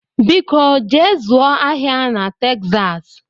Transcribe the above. Biko jee zụọ ahịa na Texas